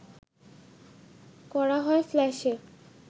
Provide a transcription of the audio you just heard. করা হয় ফ্ল্যাশে